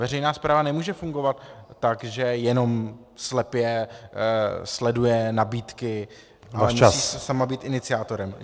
Veřejná správa nemůže fungovat tak, že jenom slepě sleduje nabídky , ale musí si sama být iniciátorem.